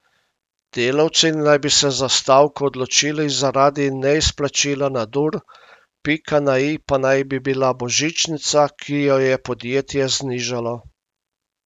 Delavci naj bi se za stavko odločili zaradi neizplačila nadur, pika na i pa naj bi bila božičnica, ki jo je podjetje znižalo.